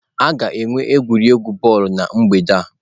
A ga-enwe egwuregwu bọọlụ na mgbede a.